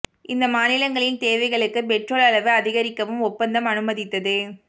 இந்த மாநிலங்களின் தேவைகளுக்கு பெட்ரோல் அளவு அதிகரிக்கவும் ஒப்பந்தம் அனுமதித்தது